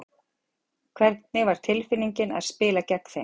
Hvernig var tilfinningin að spila gegn þeim?